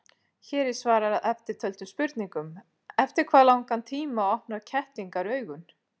Hér er svarað eftirtöldum spurningum: Eftir hvað langan tíma opna kettlingar augun?